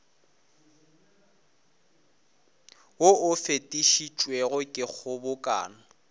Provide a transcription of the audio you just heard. wo o fetišitšwego ke kgobokano